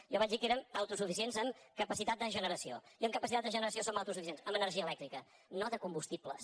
jo vaig dir que érem autosuficients en capacitat de generació i en capacitat de generació som autosuficients en energia elèctrica no de combustibles